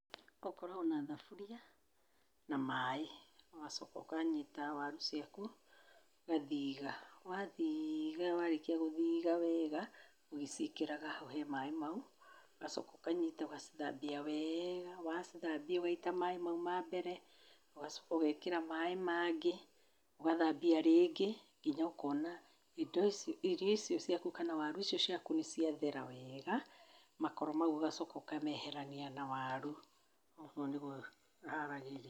Ũkoragwo na thaburia na maĩ, ũgacoka ũkanyita waru ciaku, ũgathiga, wathiiga warĩkia gũthiga wega ũgĩciĩkĩraga hau he maĩ mau. Ũgacoka ũgacinyita ũgacithambia wega, wacithambia ũgaita maĩ mau ma mbere, ũgacoka ũgekĩra maĩ mangĩ, ũgathambia rĩngĩ, nginya ũkona irio icio ciaku kana waru icio ciaku nĩ ciathere wega. Makoro mau ũgacoka ũkameherania na waru. Ũguo nĩ guo haragĩrĩa.